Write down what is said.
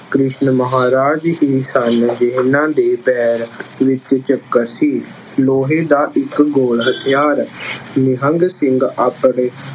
ਕ੍ਰਿਸ਼ਨ ਮਹਾਰਾਜ ਹੀ ਸਨ ਜਿੰਨ੍ਹਾ ਦੇ ਪੈਰ ਵਿੱਚ ਚੱਕਰ ਸੀ। ਲੋਹੇ ਦਾ ਇੱਕ ਗੋਲ ਹਥਿਆਰ- ਨਿਹੰਗ ਸਿੰਘ ਆਪਣੇ